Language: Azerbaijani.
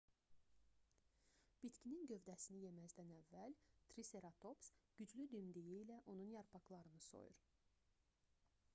bitkinin gövdəsini yeməzdən əvvəl triseratops güclü dimdiyi ilə onun yarpaqlarını soyur